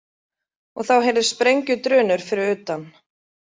Og þá heyrðust sprengjudrunur fyrir utan.